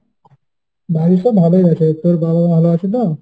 বাড়ির সব ভালই আছে, তোর বাবা ভালো আছে তো?